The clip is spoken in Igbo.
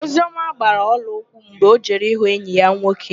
Ozioma gbaa ọlaụkwụ mgbe ọ jere ịhụ enyi ya nwoke.